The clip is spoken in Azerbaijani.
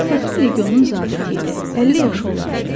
Fəxri legionun zabiti idi, 50 yaşı olardı.